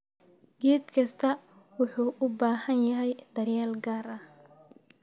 Geed kastaa wuxuu u baahan yahay daryeel gaar ah.